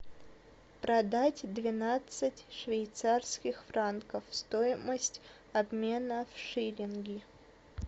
продать двенадцать швейцарских франков стоимость обмена в шиллинги